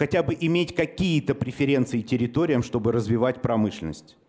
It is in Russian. хотя бы иметь какие-то преференции территориям чтобы развивать промышленность